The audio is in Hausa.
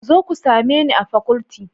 Ku zo ku same ni a faculty